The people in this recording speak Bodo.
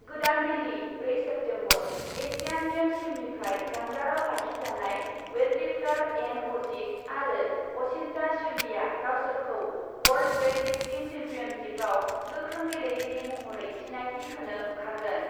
गोदान दिल्ली, ब्रै सेप्तेम्बर, एसियान गेम्स टीमनिफ्राय जानगारआव लाखिजानाय वेटलिफ्टार एन अजित आरो अचिन्ता श्युलीया गावसोरखौ वर्ल्ड वेटलिफ्टिं सेम्पियनशिपआव गोख्रों गेलेगिरि महरै सिनायथि होनो ओंखारगोन।